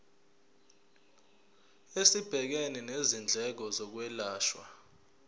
esibhekene nezindleko zokwelashwa